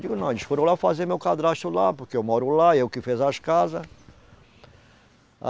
Digo, não, eles foram lá fazer meu cadrasto lá, porque eu moro lá, eu que fiz as casas.